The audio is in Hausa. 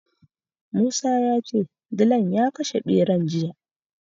Musa ya ce dilan ya kashe ɓeran jiya.